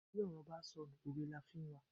Bí òrò bá sọ nú, òwe la fi n wa